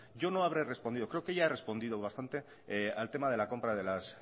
yo no habré respondido creo que ya he respondido y bastante al tema de la compra de las